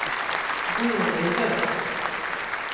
Gurli Jönsson